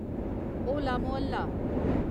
होला मोहल्ला